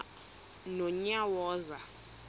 nonyawoza